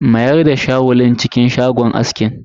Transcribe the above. Mayar da shawul din cikin shagon askin.